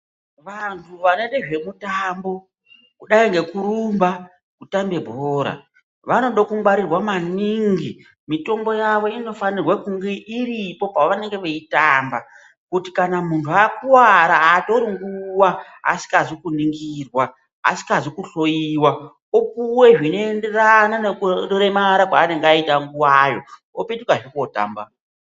Vanthu vanoite zvemitambo kudai ngekurumba kutambe bhora vanoda kungwarirwa maningi mitombo yavo inonirwa kunge iripo pavanenge veitamba kuti munthu akuwara aatori nguwa asikazi kuningirwa asikazi kuhloyiwa opuwa zvinoenderana nekuremara kwaanenge aita nguwayo opetukazve kootamba.